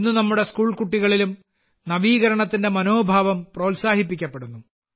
ഇന്ന് നമ്മുടെ സ്കൂൾ കുട്ടികളിലും നവീകരണത്തിന്റെ മനോഭാവം പ്രോത്സാഹിപ്പിക്കപ്പെടുന്നു